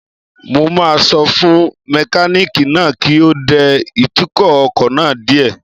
Mo máa sọ fún mẹkánìkì náà kí ó dẹ ìtukọ̀ ọkọ̀ náà díẹ̀